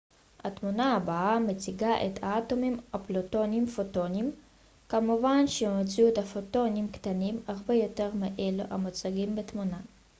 התמונה הבאה מציגה את האטומים הפולטים פוטונים כמובן שבמציאות הפוטונים קטנים הרבה יותר מאלו המוצגים בתמונה